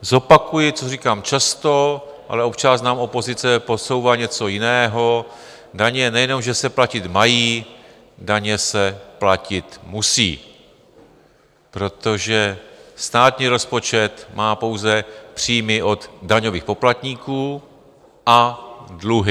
Zopakuji, co říkám často, ale občas nám opozice podsouvá něco jiného, daně nejenom že se platit mají, daně se platit musí, protože státní rozpočet má pouze příjmy od daňových poplatníků a dluhy.